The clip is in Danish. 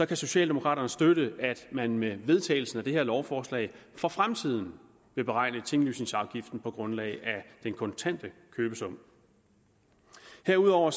kan socialdemokraterne støtte at man med vedtagelsen af det her lovforslag for fremtiden vil beregne tinglysningsafgiften på grundlag af den kontante købesum herudover